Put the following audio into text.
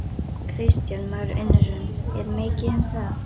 Kristján Már Unnarsson: Er mikið um það?